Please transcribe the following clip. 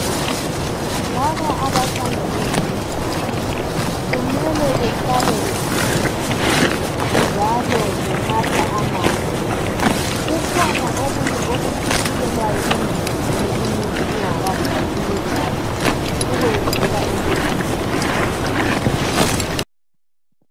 Laba bathanda ezomudlalo kumele bahlale beqinile njalo benatha amanzi . Kukhona okunye okuhlikihlelwayo emzimbeni umuntu engadlali imidlalo, ukwenzela ukuyehlisa ukulimala.